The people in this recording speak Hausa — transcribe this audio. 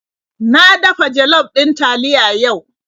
Na dafa jollof ɗin taliya yau.